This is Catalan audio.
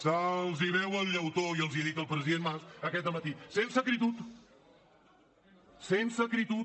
se’ls veu el llautó i els ho ha dit el president mas aquest matí sense acritud sense acritud